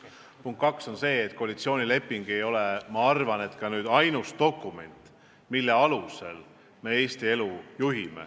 Punkt 2 on see, et koalitsioonileping ei ole, ma arvan, ka ainus dokument, mille alusel me Eesti elu juhime.